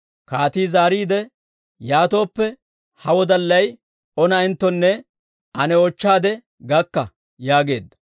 Kaati zaariide, «Yaatooppe ha wodallay O na'enttonne ane oochchaade gakka» yaageedda.